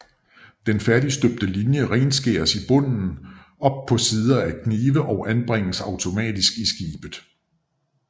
Den færdigstøbte linje renskæres i bund op på sider af knive og anbringes automatisk i skibet